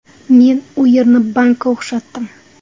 Men u yerni bankka o‘xshatdim.